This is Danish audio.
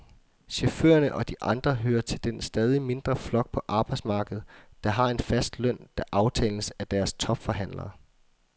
Chaufførerne og de andre hører til den stadig mindre flok på arbejdsmarkedet, der har en fast løn, der aftales af deres topforhandlere.